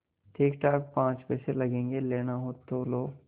ठीकठाक पाँच पैसे लगेंगे लेना हो लो